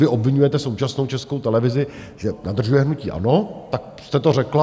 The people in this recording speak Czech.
Vy obviňujete současnou Českou televizi, že nadržuje hnutí ANO, tak jste to řekla.